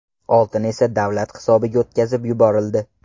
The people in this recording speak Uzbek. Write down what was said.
Oltin esa davlat hisobiga o‘tkazib yuborildi.